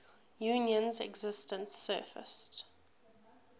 union's existence surfaced